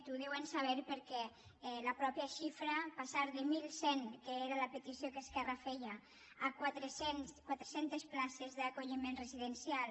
ho deuen saber perquè la mateixa xifra passar de mil cent que era la petició que esquerra feia a quatre cents places d’acolliment residencial